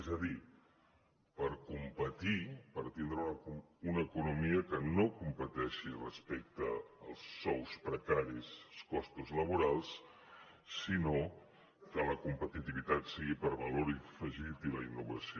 és a dir per competir per tindre una economia que no competeixi respecte als sous precaris i els costos laborals sinó que la competitivitat sigui per valor afegit i la innovació